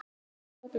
á léttum nótum.